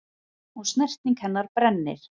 Og snerting hennar brennir.